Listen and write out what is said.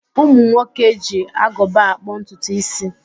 Ụmụ nwoke ji agụba akpụ ntutu ísí.